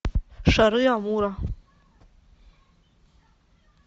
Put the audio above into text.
шары амура